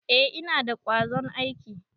Eh, Ina da kwazon aiki.